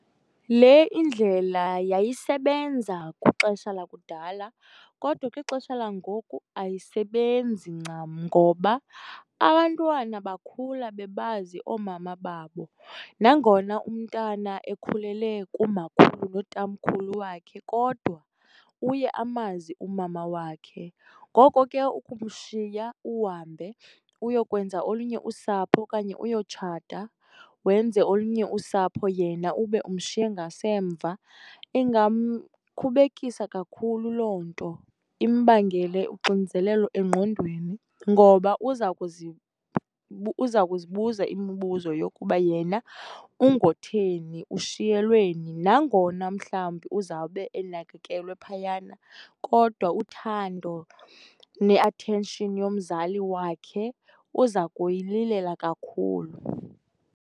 Le indlela yayisebenza kwixesha lakudala kodwa kwixesha langoku ayisebenzi ncam ngoba abantwana bakhula bebazi oomama babo, nangona umntwana ekhulele kumakhulu notamkhulu wakhe kodwa uye amazi umama wakhe. Ngoko ke ukumshiya uhambe uyokwenza olunye usapho okanye uyotshata, wenze olunye usapho yena ube umshiye ngasemva, ingamkhubekisa kakhulu loo nto, imbangele uxinzelelo engqondweni. Ngoba uza uza kuzibuza imibuzo yokuba yena ungotheni, ushiyelweni nangona mhlawumbi uzawube enakekelwe phayana kodwa uthando ne-attention yomzali wakhe uza kuyililela kakhulu.